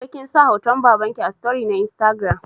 Naga kinsa hoton babanki a story ɗinki na instagram